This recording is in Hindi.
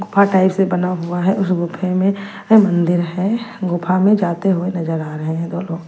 गुफा टाइप से बना हुआ है उस गुफे में मंदिर है गुफा में जाते हुए नजर आ रहे हैं दो लोग।